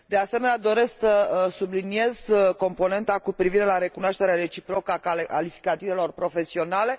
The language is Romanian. De asemenea, doresc să subliniez componenta cu privire la recunoașterea reciprocă a calificativelor profesionale.